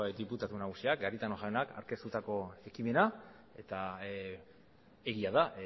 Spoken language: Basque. diputatu nagusiak garitano jaunak aurkeztutako ekimena eta egia da